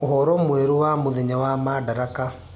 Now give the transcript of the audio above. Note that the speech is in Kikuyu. uhoro mwerũ wa mũthenya wa madaraka